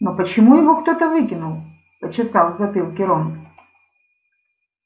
но почему его кто-то выкинул почесал в затылке рон